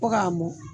Fo k'a mɔ